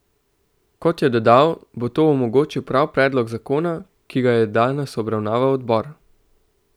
Kot je dodal, bo to omogočil prav predlog zakona, ki ga je danes obravnaval odbor.